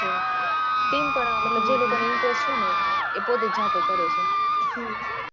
team માં જ છે મતલબ જે લોકો ને interest છે એ લોકો પોતે જાતે કરે છે